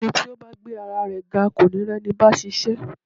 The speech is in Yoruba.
Ẹni tí ó bá gbé ara rẹ ga kò ní rí ẹni báa ṣiṣẹ́.